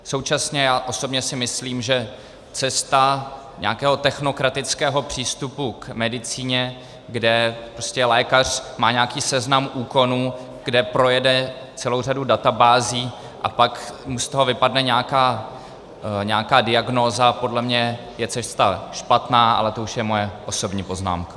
Současně já osobně si myslím, že cesta nějakého technokratického přístupu k medicíně, kde prostě lékař má nějaký seznam úkonů, kde projede celou řadu databází, a pak mu z toho vypadne nějaká diagnóza, podle mě je cesta špatná, ale to už je moje osobní poznámka.